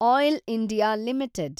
oil India limited